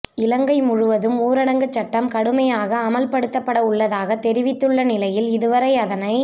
இலங்கை முழுவதும் ஊரடங்கு சட்டம் கடுமையாக அமுல்படுத்தப்படவுள்ளதாக தெரிவித்துள்ள நிலையில் இதுவரை அதனை